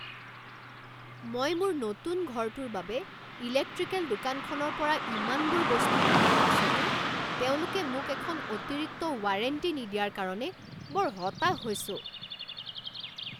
মই মোৰ নতুন ঘৰটোৰ বাবে ইলেক্ট্ৰিকেল দোকানখনৰ পৰা ইমানবোৰ বস্তু কিনাৰ পাছতো তেওঁলোকে মোক এখন অতিৰিক্ত ৱাৰেণ্টি নিদিয়াৰ কাৰণে বৰ হতাশ হৈছোঁ।